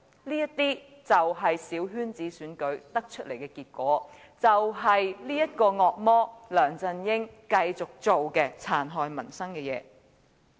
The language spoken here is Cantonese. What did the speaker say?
這就是小圈子選舉引致的結果，亦是這個惡魔梁振英繼續做出的殘害民生的事情。